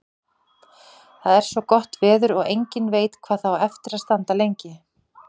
Það er svo gott veður og enginn veit hvað það á eftir að standa lengi.